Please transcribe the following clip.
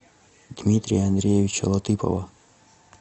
дмитрия андреевича латыпова